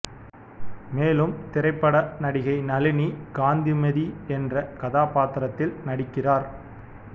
மேலும் திரைப்பட நடிகை நளினி காந்திமதி என்ற கதாபாத்திரத்தில் நடிக்கிறார்